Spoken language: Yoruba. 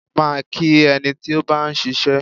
Máa kí ẹni tí ó bá ń ṣiṣẹ́.